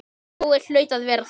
Jói hlaut að vera þar.